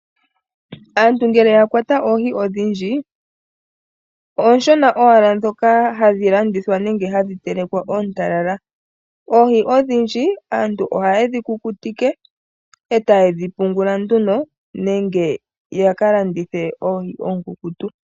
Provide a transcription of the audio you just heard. Aantu ngele ya kwata oohi odhindji oonshona owala ndhoka hadhi landithwa nenge hadhi telekwa oontalala. Oohi odhindji aantu ohaye dhikukutike etaye dhipungula nduno nenge yakalandithe oonkukutu.